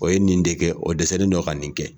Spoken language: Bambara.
O ye nin de kɛ o dɛsɛlen don ka nin kɛ.